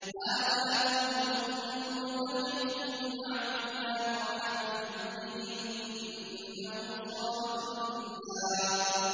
هَٰذَا فَوْجٌ مُّقْتَحِمٌ مَّعَكُمْ ۖ لَا مَرْحَبًا بِهِمْ ۚ إِنَّهُمْ صَالُو النَّارِ